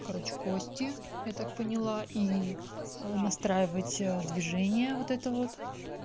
короче кости я так поняла и настраивать движение вот это вот